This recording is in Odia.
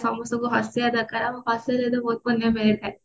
ସମସ୍ତଙ୍କୁ ହସେଇବା ଦରକାର ଆଉ ହସେଇଲେ ବି ଦରକାର